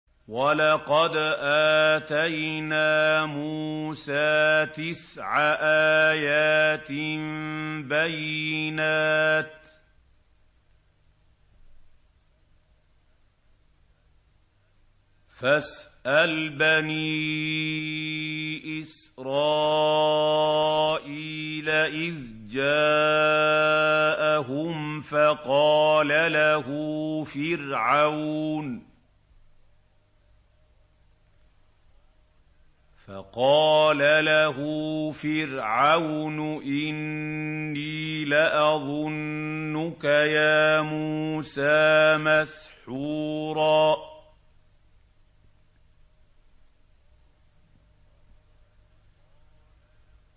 وَلَقَدْ آتَيْنَا مُوسَىٰ تِسْعَ آيَاتٍ بَيِّنَاتٍ ۖ فَاسْأَلْ بَنِي إِسْرَائِيلَ إِذْ جَاءَهُمْ فَقَالَ لَهُ فِرْعَوْنُ إِنِّي لَأَظُنُّكَ يَا مُوسَىٰ مَسْحُورًا